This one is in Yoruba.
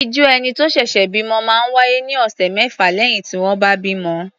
Ìọ́jú ẹni tó ṣẹ̀ṣẹ̀ bímọ máa ń wá́yé ní ọ̀sẹ̀ mẹ́fà lẹ́yìn tí wọ́n bá bímọ.